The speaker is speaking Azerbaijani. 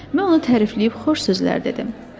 Mən onu tərifləyib xoş sözlər dedim.